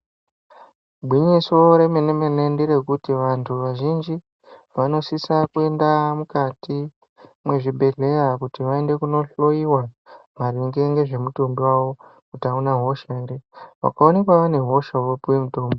Igwinyiso remene mene nderekuti vantu vazhinji vanosisa kuenda mukati muzvibhedhleya kuti vaende kundohloyiwa maringe nezvemutumbi wavo kuti auna hosha ere wabatwa ngehosha wopuwa mutombo.